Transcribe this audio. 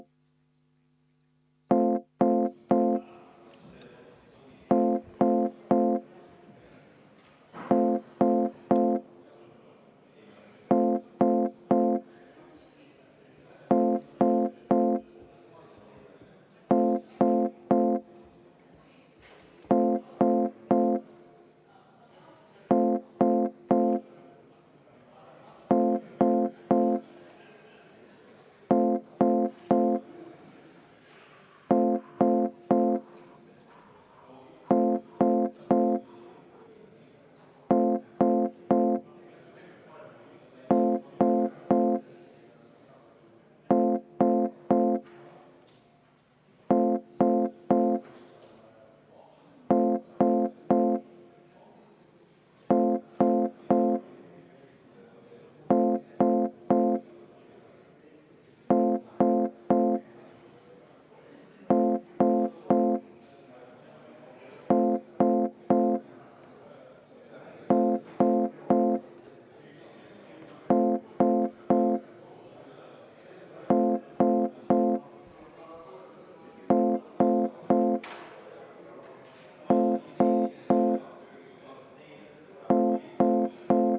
V a h e a e g